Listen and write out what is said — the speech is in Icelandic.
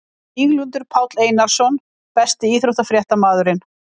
Víglundur Páll Einarsson Besti íþróttafréttamaðurinn?